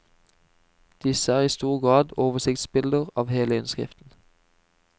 Disse er i stor grad oversiktsbilder av hele innskriften.